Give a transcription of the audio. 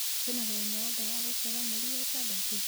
kwĩ na mũthenya o wothe wa gũciarwo mweri wa ĩtandatũ